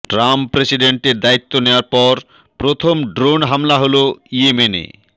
Trump প্রেসিডেন্টের দায়িত্ব নেয়ার পর প্রথম ড্রোন হামলা হলো ইয়েমেনে